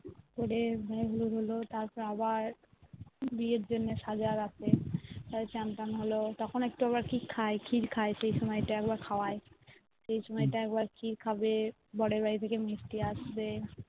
পরে গায়ে হলুদ হলো তার পরে আবার বিয়ের জন্যে সাজা রাতে চান তন্ হলো তখন আবার একটু কি খায় খির খায় সেই সময় তা আবার খাওয়ায় সেই সময় তা খির খাবে বরের বাড়ি থেকে মিষ্টি আসবে